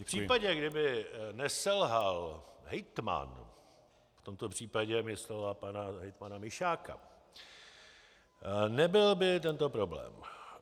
V případě, kdyby neselhal hejtman, v tomto případě myslela pana hejtmana Mišáka, nebyl by tento problém.